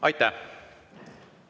Aitäh!